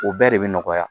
O bɛɛ de bɛ nɔgɔya